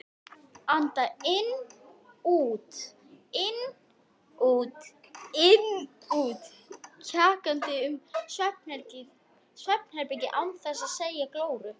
Anda inn-út-inn-út-inn-út, kjagandi um svefnherbergið án þess að sjá glóru.